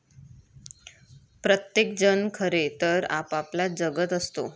प्रत्येक जण खरे तर आपापला जगत असतो.